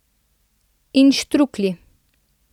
In štruklji!